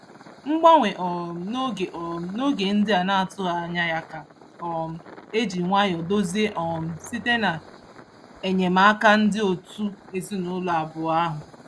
Mgbanwe um n'oge um n'oge ndị a na-atụghị anya ka um e ji nwayọ dozie um site n'enyemaka ndị otu ezinụụlọ abụọ ahụ.